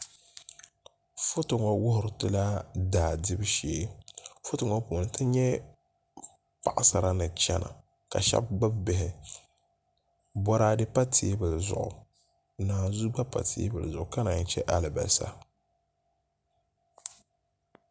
Foto ŋo wuhuritila daa dibu shee foto ŋo puuni ti nyɛ paɣasara ni chɛna ka shab gbubi bihi boraadɛ pa teebuli zuɣu naanzuu gba pa teebuli zuɣu ka naan chɛ alibarisa